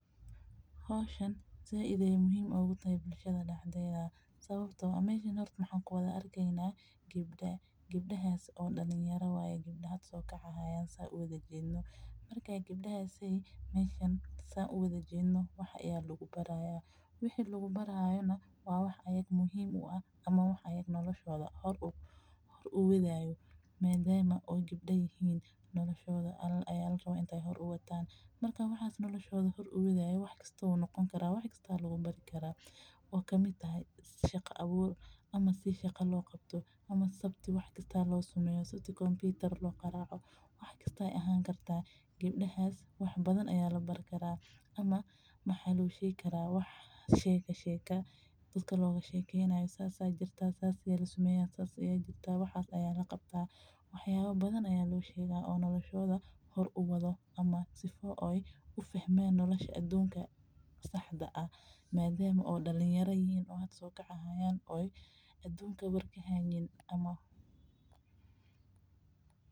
Howhsani sait ayeey muhiim utahay bulshada sababta ah waxaan arkeyna gabda dalin yara ah waxaa labaraaya wax noloshooda hor u adayo wax kasta oo kamid ah shaqa abuur wax badan ayaa labaari karaa sida kompitar ama sharqaan wax badan ayaa kabaraaya oo noloshooda hor uwado nadaama aay hada soo kacayaan oo aduunka kawar haayin.